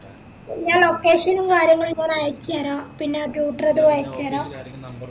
ഞാ location നും കാര്യങ്ങളും ഞാനയചേര പിന്നത് അയച്ചേര